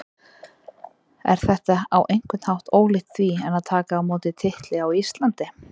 Er þetta á einhvern hátt ólíkt því en að taka á móti titli á Íslandi?